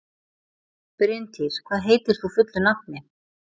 Bryntýr, hvað heitir þú fullu nafni?